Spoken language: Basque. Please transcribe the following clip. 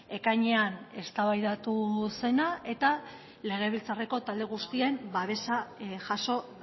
ekainean eztabaidatu zena eta legebiltzarreko talde guztien babesa jaso